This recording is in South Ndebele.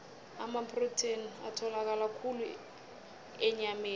amaprotheni atholakala khulu enyameni